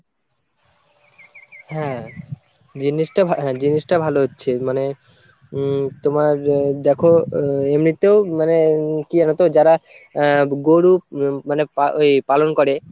হ্যাঁ জিনিসটা হ্যাঁ জিনিসটা ভালো হচ্ছে মানে উম তোমার দেখো এমনিতেও মানে কি জানতো যারা আহ গরু মানে পা~ ওই পালন করে